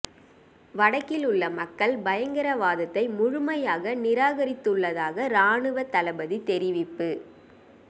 வடக்கில் உள்ள மக்கள் பயங்கரவாதத்தை முழுமையாக நிராகரித்துள்ளதாக இராணுவத் தளபதி தெரிவிப்பு